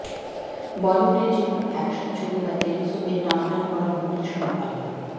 বলিউডের যে কোনও অ্যাকশন ছবি বা টেলি সোপের টানটান করা মুহূর্তর সঙ্গে পাল্লা